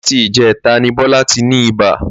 Láti ìjé̩ta ni Bó̩lá ti ni ibà